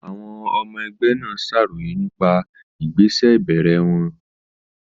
Àwọn ọmọ ẹgbẹ́ náà ṣàròyé nípa ìgbésẹ̀ ìbẹ̀rẹ̀ wọn.